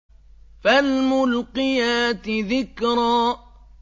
فَالْمُلْقِيَاتِ ذِكْرًا